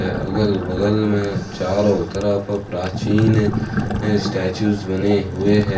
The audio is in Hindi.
अगल बगल में चारों तरफ प्राचीन स्टेच्यू बने हुए है।